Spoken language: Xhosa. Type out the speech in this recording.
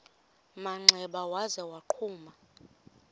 manxeba waza wagquma